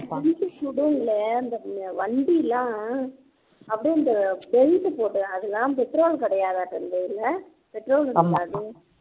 military அந்த வண்டி எல்லாம் அப்படியே அந்த belt போட்டு அதெல்லாம் petrol கிடையாது இல்ல petrol இருக்காது